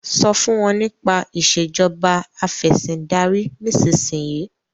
so fún wón nípa Ìṣèjọba Afẹ̀sìndarí nísìsiyìí!